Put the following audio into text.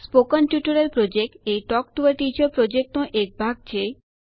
spoken tutorial project talk to a teacher યોજનાનો એક ભાગ છે